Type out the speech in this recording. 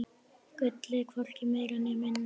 Gullið, hvorki meira né minna.